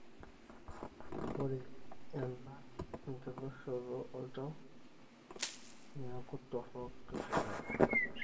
ore ena enkitashoto oltau, niaku torok ilbulabul.